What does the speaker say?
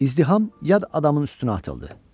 İzdiham yad adamın üstünə atıldı.